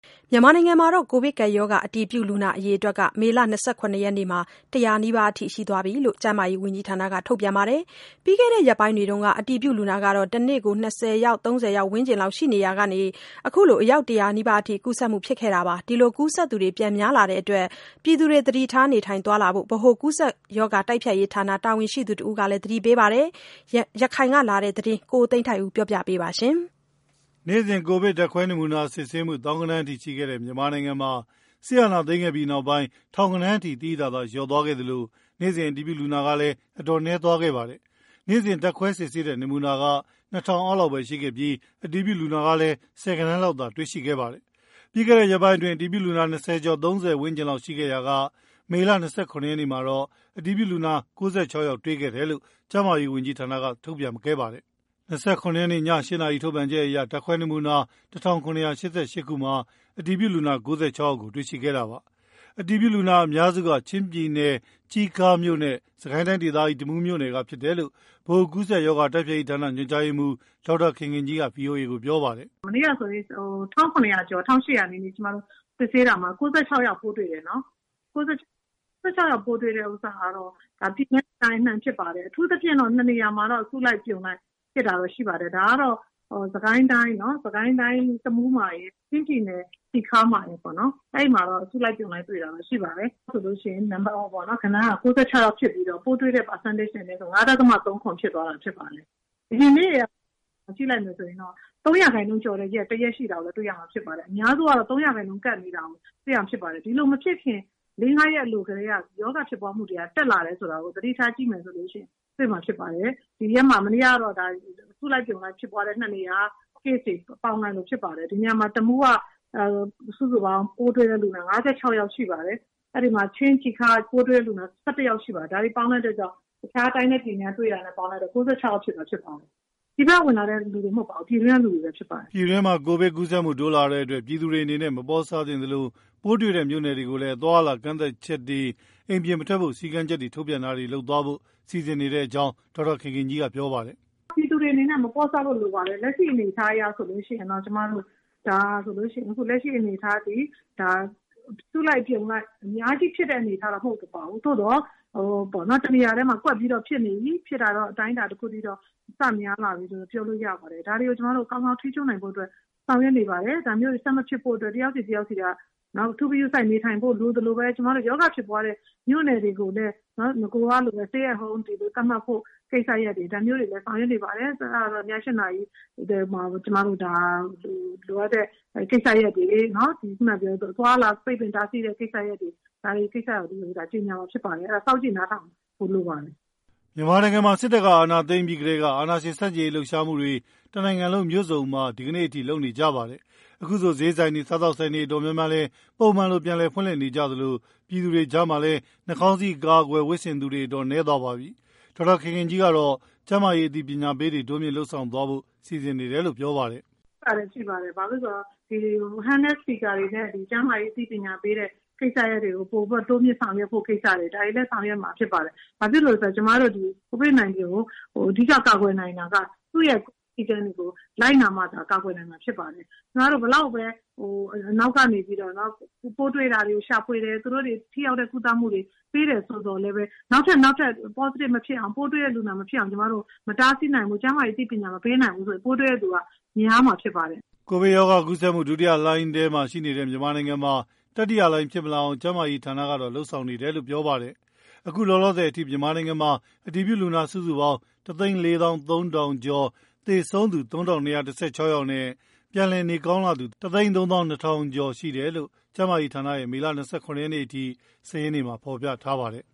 မြန်မာနိုင်ငံမှာ ကိုဗစ်ကပ်ရောဂါ အတည်ပြုလူနာအရေအတွက် မေလ ၂၇ ရက်နေ့က ၁၀၀ နီးပါးရှိတယ်လို့ ကျန်းမာရေးဝန်ကြီးဌာနက ထုတ်ပြန်ပါတယ်။ ပြီးခဲ့တဲ့ရက်ပိုင်းတွေက အတည်ပြုလူနာ တနေ့ကို ၂၀၊ ၃၀ ဝန်းကျင်မှာ ရှိနေရာက ခုလို ၁၀၀ နီးပါးထိတက်လာတာပါ။ ကူးစက်သူ ပြန်များလာတဲ့အတွက် ပြည်သူတွေ သတိထား နေထိုင်သွားလာဖို့ ဗဟိုကူးစက်ရောဂါ တိုက်ဖျက်ရေးဌာနတာဝန်ရှိသူတဦးက သတိပေးပါတယ်။ ရခိုင်ကလာတဲ့ ဒီသတင်းကို ကိုသိန်းထိုက်ဦးက ပြောပြထားပါတယ်။ နေ့စဉ် ကိုဗစ် ဓာတ်ခွဲနမူနာစစ်ဆေးမှု သောင်းဂဏန်းထိရှိခဲ့တဲ့ မြန်မာနိုင်ငံမှာ စစ်အာဏာသိမ်းခဲ့ပြီးနောက်ပိုင်း ထောင်ဂဏန်းအထိ သိသိသာသာ လျော့သွားခဲ့သလို နေ့စဉ် အတည်ပြုလူနာဟာလည်း အတော်နည်းသွားခဲ့ပါတယ်။ နေ့စဉ် ဓာတ်ခွဲစစ်ဆေးတဲ့ နမူနာက ၂,၀၀၀ အောက်လောက်ပဲ ရှိခဲ့ပြီး အတည်ပြုလူနာကလည်း ဆယ်ဂဏန်းလောက်သာ တွေ့ရှိခဲ့ပါတယ်။ ပြီးခဲ့တဲ့ရက်ပိုင်းအတွင်း အတည်ပြုလူနာ၂၀ ကျော် ၃၀ ဝန်းကျင်လောက်သာရှိခဲ့ရာက မေလ ၂၇ ရက်နေ့မှာတော့ အတည်ပြုလူနာ ၉၆ ယောက်တွေ့တယ်လို့ ကျန်းမာရေးဝန်ကြီးဌာနက ထုတ်ပြန်ခဲ့ပါတယ်။ ၂၇ ရက်နေ့ ည ၈ နာရီထုတ်ပြန်ချက်အရ ဓါတ်ခွဲနမူနာ ၁,၇၈၈ ခုမှာ အတည်ပြု လူနာ ၉၆ ယောက်ကို တွေ့ခဲ့တာပါ။ အတည်ပြုလူနာအများစုက ချင်းပြည်နယ် တီးခါးမြို့နဲ့ စစ်ကိုင်းတိုင်းဒေသကြီး တမူးမြို့နယ်က ဖြစ်ကြတယ်လို့ ဗဟိုကူးစက်ရောဂါ တိုက်ဖျက်ရေးဌာန ညွှန်ကြားရေးမှူး ဒေါက်တာခင်ခင်ကြီးက ဗွီအိုအေကို ပြောပါတယ်။ “မနေ့ကဆိုရင် ကျမတို့ ၁၇၀ ကျော် ၁၈၀ နီးပါး စစ်ဆေးတာမှာ ၉၆ ယောက်တွေ့တယ်နော်။ ၉၆ ယောက်တွေ့တာက ပြည်နယ်နဲ့ တိုင်းအနှံ့ကဖြစ်ပါတယ်။ အထူးသဖြင့် နှစ်နေရာမှာတော့ အစုလိုက် အပြုံလိုက်ဖြစ်တာကိုတွေ့ရတယ်။ ဒါကတော့ စကိုင်းတိုင်း တမူးမှာရယ်။ ချင်းပြည်နယ် တီခါးမှာရယ်ပေါ့နော်။ အဲဒီမှာတော့ အစုလိုက် အပြုံလိုက် တွေ့တာတော့ ရှိပါတယ်။ ဒါကြောင့်မိုလို့ ပိုးတွေ့တဲ့ဂဏန်းက ၉၆ ဖြစ်ပြီးတော့ ပိုးတွေ့တဲ့ ရာခိုင်နှူန်းကတော့ ၅.၃၇ ဖြစ်သွားတာ ဖြစ်ပါတယ်။ အရင်တုန်းက ရက်တွေကို ကြည့်လိုက်မယ်ဆိုရင် ၃% ကျော်တဲ့ရက် တရက်ရှိတာကို တွေ့ရမှာဖြစ်ပါတယ်။ အများစုကတော့ ၃% ကပ်နေတာကိုတွေ့ရမှာ ဖြစ်ပါတယ်။ ဒီလိုမဖြစ်ခင် လေးငါးရက် အလိုကတည်းက ရောဂါဖြစ်ပွားမှုနှူန်းက တက်လာတယ်ဆိုတာကို သတိထားကြည့်မယ်ဆိုရင် တွေ့မှာဖြစ်ပါတယ်။ မနေ့ကတော့ အစုလိုက်အပြုံလိုက် case တွေကို ပေါင်းလိုက်လို့ဖြစ်ပါ တယ်။ တမူးက ပိုးတွေ့လူနာ ၅၆ ယောက်ရှိပါတယ်။ ချင်းပြည်နယ် တီခါးမြို့နယ်က ပိုးတွေ့လူနာ ၁၁ ယောက်ရှိပါတယ်။ တခြားတိုင်းနဲ့ ပြည်နယ်တွေက ပေါင်းလိုက်တော့ ၉၆ ယောက် ဖြစ်သွားတာ ဖြစ်ပါတယ်။ ပြည်ပက ဝင်လာသူတွေ မဟုတ်ပါဘူး ပြည်တွင်းက သူတွေပဲ ဖြစ်ပါတယ်။” ပြည်တွင်းမှာ ကိုဗစ်ကူးစက်မှုတိုးလာတဲ့အတွက် ပြည်သူတွေအနေနဲ့ မပေါ့ဆသင့်သလို ပိုးတွေ့တဲ့ မြို့နယ်တွေကိုလည်း အသွားအလာ ကန့်သတ်ချက်တွေ အိမ်ပြင်မထွက်ဖို့ စည်းကမ်းချက် ထုတ်ပြန်တာတွေ လုပ်သွားဖို့ စီစဉ်နေတယ်လို့လည်း ဒေါက်တာခင်ခင်ကြီးက ပြောပါတယ်။ “ဒါပြည်သူတွေအနေနဲ့ မပေါ့ဆဖို့ လိုပါတယ်။ လက်ရှိအနေအထားအရဆိုရင် ဒါ အစုလိုက် အပြုံလိုက် အများကြီးဖြစ်တဲ့ အနေအထားတော့ မဟုတ်ပါဘူး။ သို့သော် တနေရာထဲမှာ ကွက်ပြီးတော့ ဖြစ်နေပြီ အတိုင်းအတာတခုအထိတော့ စများလာပြီဆိုပြီးတော့ ပြောလို့ရပါတယ်။ ဒါတွေကို ကျမတို့ ကောင်းကောင်းထိန်းချုပ်နိုင်ဖို့အတွက် ကျမတို့ ဆောင်ရွက်နေ ပါတယ်။ ဒါမျိုး ဆက်မဖြစ်ဖို့အတွက် တယောက်စီတယောက်စီက အထူးဂရုစိုက်ဖို့ လိုသလိုပဲ ကျမတို့ ရောဂါဖြစ်ပွားတဲ့ မြို့နယ်တွေကိုလည်း နဂိုကလိုပဲ Stay home တွေ သတ်မှတ်ဖို့ ကိစ္စရပ်တွေ ဒါမျိုးတွေလည်း ဆောင်ရွက်နေပါတယ်။ ဒါတွေကို ည ၈ နာရီမှာ အသွားအလာပိတ်ပင်တားဆီးမယ့် အနေအထားတွေ ဒါတွေကို ကြေငြာမှာဖြစ်ပါတယ်။ အဲတော့ စောင့်ကြည့်နားထောင်ကြပါလို့ပြောချင်ပါတယ်။” မြန်မာနိုင်ငံမှာ စစ်တပ်က အာဏာသိမ်းပြီးကတည်းက အာဏာရှင်ဆန့်ကျင်လှုပ်ရှားတွေ တနိုင်ငံလုံး မြို့စုံမှာ ဒီကနေ့အထိ လုပ်နေကြပါတယ်။ အခုဆို ဈေးဆိုင်တွေ စားသောက်ဆိုင်တွေ တော်တော်များများလည်း ပုံမှန်လို ပြန်လည်ဖွင့်နေကြသလို ပြည်သူတွေကြားမှာလည်း နှာခေါင်းစည်း အကာအကွယ် ဝတ်ဆင်သူက တော်တော် နည်းသွားပါပြီ။ဒေါက်တာခင်ခင်ကြီးကတော့ ကျန်းမာရေး အသိပညာပေးတွေတိုးမြင့်လုပ်ဆောင်သွားဖို့ စီစဉ်နေတယ်လို့ ပြောပါတယ်။ “လုပ်ဖို့အစီအစဉ်ရှိပါတယ်။ လက်ကိုင် စပီကာတွေနဲ့ ကျန်းမာရေး အသိပညာပေးတဲ့ ကိစ္စရပ်တွေကို ပိုပြီးတော့ တိုးမြှင့်ဆောင်ရွက်ဖို့ ကိစ္စရပ်တွေ ဒါတွေလည်း ဆောင်ရွက်မှာ ဖြစ်ပါတယ်။ ဘာဖြစ်လို့လည်း ဆိုတာ့ ကျမတို့ ကိုဗစ်-၁၉ ကို အဓိက ကာကွယ်နိုင်တာက သူ့ရဲ့စည်းကမ်းတွေကို လိုက်နာမှသာ ကာကွယ်နိုင်မှာ ဖြစ်ပါတယ်။ ကျမတို့ ဘယ်လောက်ပဲ နောက်ကနေပြီးတော့ပေါ့နော်။ ပိုးတွေ့တာတွေကို ရှာဖွေတယ်။ သူတို့ကို ထိရောက်တဲ့ ကုသမှုတွေ ပေးတယ်ဆိုပေမယ့်လည်း နောက်ထပ် ပိုးတွေ့တဲ့ လူနာမဖြစ်အောင် မတားဆီးနိုင်ဘူး ကျန်းမာရေးအသိပညာမပေးနိုင်ဘူးဆိုရင် ပိုးတွေ့တဲ့ လူနာတွေက များမှာ ဖြစ်ပါတယ်။” ကိုဗစ်ရောဂါ ကူးစက်မှု ဒုတိယလှိုင်းထဲမှာ ရှိနေတဲ့ မြန်မာနိုင်ငံမှာ တတိယလှိုင်း ဖြစ်မလာအောင် ကျန်းမာရေးဌာနကတော့ လုပ်ဆောင်နေတယ်လို့လည်း ပြောပါတယ်။ အခုလောလောဆယ်အထိ မြန်မာနိုင်ငံမှာ အတည်ပြုလူနာ စုစုပေါင်း ၁ သိန်း ၄ သောင်း ၃ ထောင်ကျော် (၁၄၃,၄၁၄) ၊ သေဆုံးသူ ၃,၂၁၆ ယောက်နဲ့ပြန်လည်နေကောင်းလာသူ ၁ သိန်း ၃ သောင်း ၂ ထောင်ကျော် (၁၃၂,၂၆၉) ရှိတယ်လို့ ကျန်းမာရေးဌာနရဲ့မေလ ၂၇ ရက်အထိ စာရင်းမှာ ဖော်ပြထားပါတယ်